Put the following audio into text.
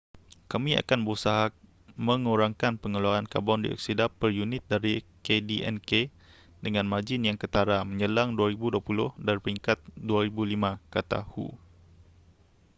kami akan berusaha mengurangkan pengeluaran karbon dioksida per unit dari kdnk dengan margin yang ketara menjelang 2020 dari peringkat 2005 kata hu